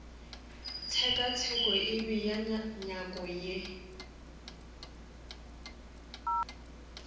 tshekatsheko e bea nyako ye